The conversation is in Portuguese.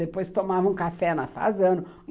Depois tomava um café no fazano.